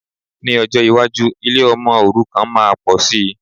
Ní ọjọ́ iwájú, ilé ọmọ òrukàn máa pòsi